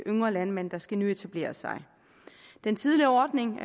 yngre landmænd der skal nyetablere sig den tidligere ordning